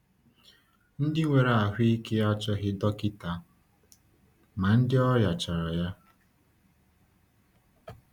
“Ndị nwere ahụ ike achọghị dọkịta, ma ndị ọrịa chọrọ ya.”